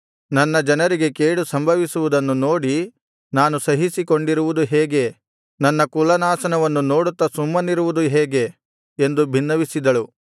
ನನ್ನ ಜನರಿಗೆ ಕೇಡು ಸಂಭವಿಸುವುದನ್ನು ನೋಡಿ ನಾನು ಸಹಿಸಿಕೊಂಡಿರುವುದು ಹೇಗೆ ನನ್ನ ಕುಲನಾಶನವನ್ನು ನೋಡುತ್ತಾ ಸುಮ್ಮನಿರುವುದು ಹೇಗೆ ಎಂದು ಬಿನ್ನವಿಸಿದಳು